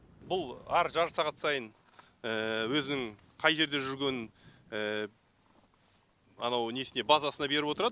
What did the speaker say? бұл әр жарты сағат сайын өзінің қай жерде жүргенін анау несіне базасына беріп отырады